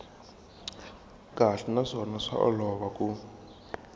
kahle naswona swa olova ku